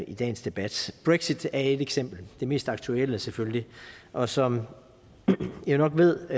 i dagens debat brexit er et eksempel det mest aktuelle selvfølgelig og som man jo nok ved